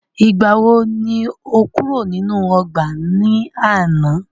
Ìgbàwo ni o kúrò nínú ọgbà náà ní àná?